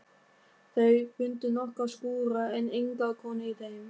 Þau fundu nokkra skúra en enga konu í þeim.